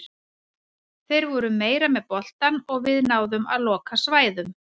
Þeir voru meira með boltann og við náðum að loka svæðum.